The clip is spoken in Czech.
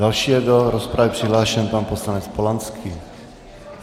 Další je do rozpravy přihlášen pan poslanec Polanský.